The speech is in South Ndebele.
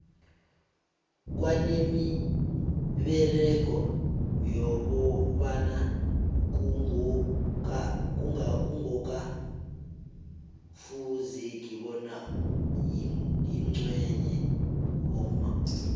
kwanemiberego yabobaba kungoka fuzeki bona yenzwe bomma